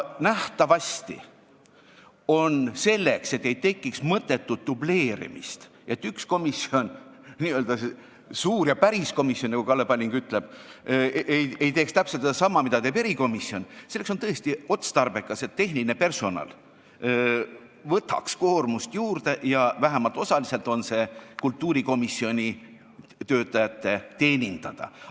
Nähtavasti on tõesti otstarbekas selleks, et ei tekiks mõttetut dubleerimist, nii et üks komisjon – n-ö suur ja päris komisjon, nagu Kalle Palling ütleb – ei teeks täpselt sedasama, mida teeb erikomisjon, panna tehnilisele personalile koormust juurde ja vähemalt osaliselt oleks see kultuurikomisjoni töötajate teenindada.